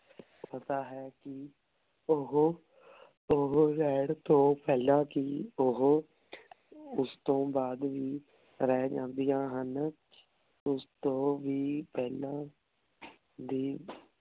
ਪਤਾ ਹੈ ਕੀ ਓਹੋ ਓਹੋ ਰੇਹਾਨ ਤੋਂ ਪੇਹ੍ਲਾਂ ਕੀ ਓਹੋ ਓਸ ਤੋਂ ਬਾਅਦ ਵੀ ਰਹ ਜਾਨ੍ਦਿਯਾਂ ਹਨ ਓਸ ਤੋਂ ਵੀ ਪੇਹ੍ਲਾਂ ਦੀ